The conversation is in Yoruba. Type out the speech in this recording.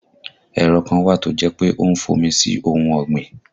Ẹ̀rọ kan wà tó jẹ́ pé ó ń fọ́n omi sí ohun ọ̀gbìn